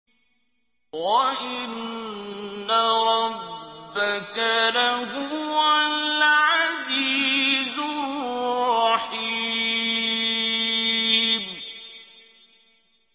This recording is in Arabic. وَإِنَّ رَبَّكَ لَهُوَ الْعَزِيزُ الرَّحِيمُ